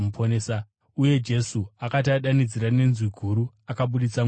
Uye Jesu akati adanidzira nenzwi guru, akabudisa mweya wake.